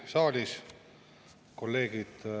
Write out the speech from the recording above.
Ma saan muidugi aru, miks meil sellega nii kiire on.